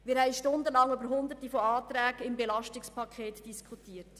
Wir haben stundenlang Hunderte von Anträgen zum EP diskutiert.